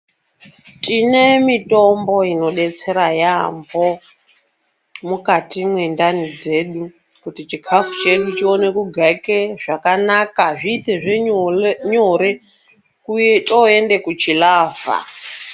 Tine mitombo inodetsera yambo mukati mwendani dzedu kuti chikafu chedu chione kugaike zvakanaka zviitezve nyore toende kuchilavha.